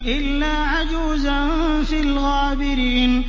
إِلَّا عَجُوزًا فِي الْغَابِرِينَ